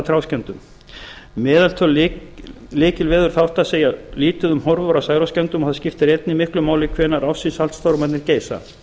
valda trjáskemmdum meðaltöl lykilveðurþátta segja lítið um horfur á særoksskemmdum og það skiptir einnig miklu máli hvenær ársins saltstormarnir geisa